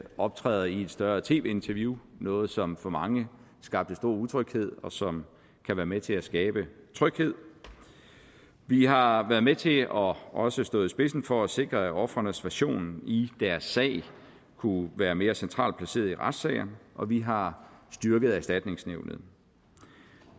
optræder i et større tv interview noget som for mange skabte stor utryghed og som kan være med til at skabe tryghed vi har været med til og også stået i spidsen for at sikre at ofrenes version i deres sag kunne være mere centralt placeret i retssager og vi har styrket erstatningsnævnet